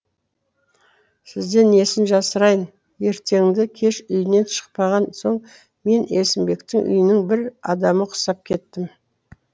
сізден несін жасырайын ертенді кеш үйінен шықпаған соң мен есімбектің үйінің бір адамы құсап кеттім